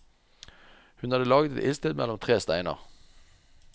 Hun hadde laget et ildsted mellom tre steiner.